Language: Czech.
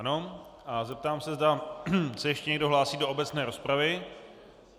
Ano a zeptám se, zda se ještě někdo hlásí do obecné rozpravy.